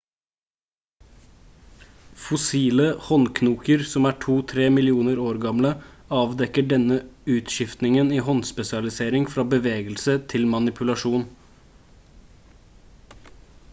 fossile håndknokler som er 2-3 millioner år gamle avdekker denne utskiftningen i håndspesialisering fra bevegelse til manipulasjon